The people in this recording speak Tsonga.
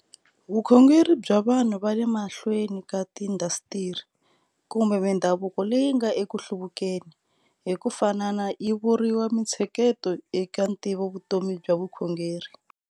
Vukhongeri bya vanhu va le mahlweni ka tiindasitiri, kumbe mindhavuko leyi nga eku hluvukeni, hi ku fanana yi vuriwa mintsheketo eka ntivovutomi bya vukhongeri.